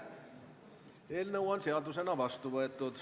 Eelnõu on seadusena vastu võetud.